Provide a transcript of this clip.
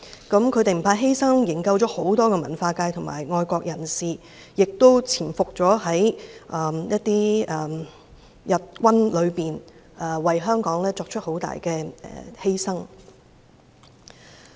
他們不怕犧牲，營救了很多文化界及愛國人士，亦潛伏在日軍當中，為香港作出很大犧牲。